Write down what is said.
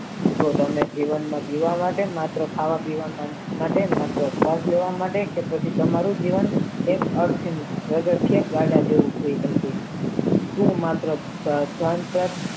કે તમે જીવનમાં જીવવા માટે ખાવા પીવા માટે મઠો છો શ્વાસ લેવા માટે કે પછી તમારું જીવન એક અર્થની ઘોડો છે ગાડા જેવું થાય જશે તે માત્ર જાણતા